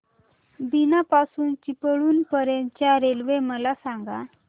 बीना पासून चिपळूण पर्यंत च्या रेल्वे मला सांगा